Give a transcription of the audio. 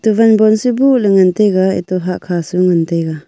wanban sebu ley ngan taiga eto hahkha su ngan taiga.